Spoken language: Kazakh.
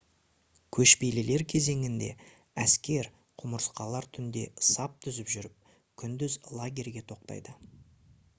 көшпелілер кезеңінде әскер құмырсқалар түнде сап түзіп жүріп күндіз лагерьге тоқтайды